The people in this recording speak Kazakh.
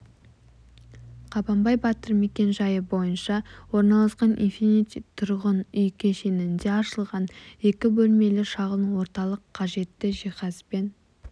қабанбай батыр мекенжайы бойынша орналасқан инфинити тұрғын үй кешенінде ашылған екі бөлмелі шағын орталық қажетті жиһазбен